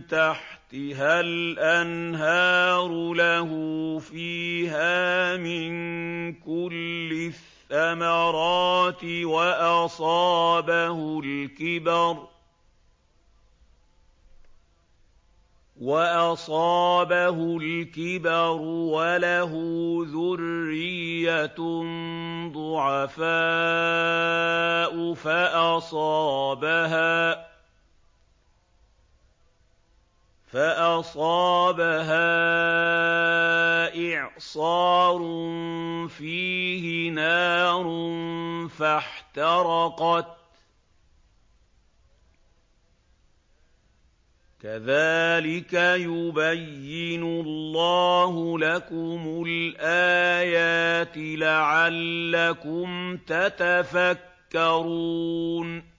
تَحْتِهَا الْأَنْهَارُ لَهُ فِيهَا مِن كُلِّ الثَّمَرَاتِ وَأَصَابَهُ الْكِبَرُ وَلَهُ ذُرِّيَّةٌ ضُعَفَاءُ فَأَصَابَهَا إِعْصَارٌ فِيهِ نَارٌ فَاحْتَرَقَتْ ۗ كَذَٰلِكَ يُبَيِّنُ اللَّهُ لَكُمُ الْآيَاتِ لَعَلَّكُمْ تَتَفَكَّرُونَ